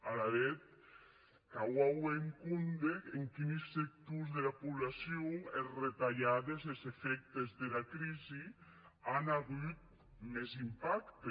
alavetz cau auer en compde en quini sectors dera poblacion es retalhades es efèctes dera crisi an agut mès impacte